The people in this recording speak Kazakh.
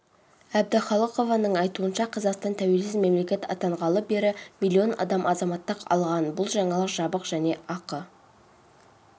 әбдіхалықованың айтуынша қазақстан тәуелсіз мемлекет атанғалы бері миллион адам азаматтық алған бұл жаңалық жабық және ақы